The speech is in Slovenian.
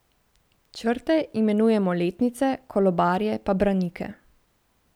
Črte imenujemo letnice, kolobarje pa branike.